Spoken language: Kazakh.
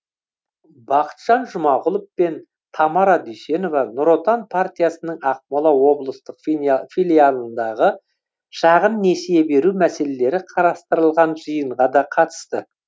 бақытжан жұмағұлов пен тамара дүйсенова нұр отан партиясының ақмола облыстық филиалындағы шағын несие беру мәселелері қарастырылған жиынға да қатысты